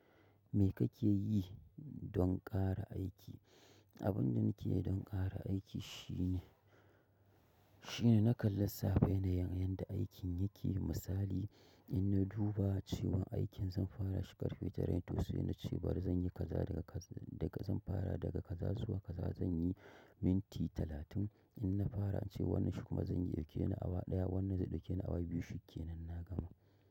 Me kake yi don ƙara aiki? Abin da nake yi don ƙara aiki shine, shine na kan lissafa yanayin yadda aikin yake. Misali in na duba cewa aikin zan fara shi karfie tara ne sai na ce bari zan yi kaza daga, daga zan fara daga kaza zuwa kaza zan yi minti talatin. In na fara wannan zai ɗauke awa wannan zai ɗauke nu awa biyu.